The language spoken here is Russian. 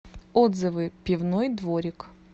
отзывы пивной дворик